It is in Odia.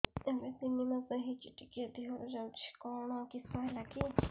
ଏବେ ତିନ୍ ମାସ ହେଇଛି ଟିକିଏ ଦିହରୁ ଯାଉଛି କିଶ ହେଲାକି